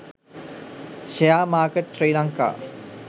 share market sri lanka